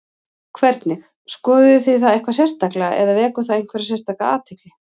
Hvernig, skoðuð þið það eitthvað sérstaklega eða vekur það einhverja sérstaka athygli?